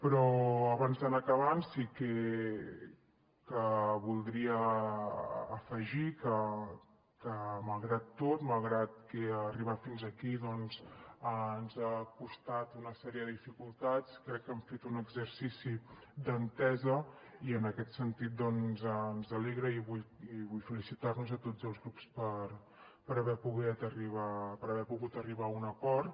però abans d’anar acabant sí que voldria afegir que malgrat tot malgrat que arribar fins aquí doncs ens ha costat una sèrie de dificultats crec que hem fet un exercici d’entesa i en aquest sentit ens alegra i vull felicitar nos a tots els grups per haver pogut arribar a un acord